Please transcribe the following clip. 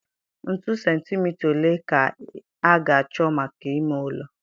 Ntu sentimita ole ka a ga-achọ maka ime ụlọ?